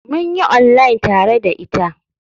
Mun yi online tare da ita.